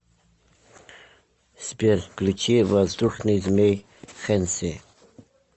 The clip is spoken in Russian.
сбер включи воздушный змей хенси